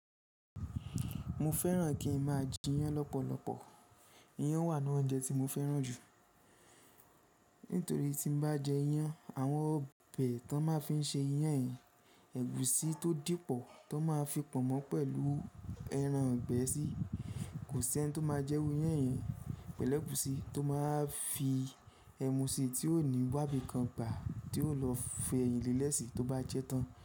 Mo fẹ́ràn kí n má a jẹ iyán lọ́pọ̀lọpọ̀. Iyán wà nínú oúnjẹ tí mo fẹ́ràn jù. Nítorí tí n bá jẹ iyán, àwọn ọbẹ̀ tó má a fi n se iyán yẹn, ẹ̀gúsí tó dípọ̀ tó má a fi pọ̀nmọ́ pẹ̀lú ẹran igbẹ́ si, kò sí ẹni tó má a jẹ irú iyán yẹn pẹ̀lú ẹ̀gúsí tó má a fi ẹmu sí i tí ò ní wábi kan gbà tí yóò lọ fi ẹyìn lílẹ̀ sí i tó bá jẹ́ tán.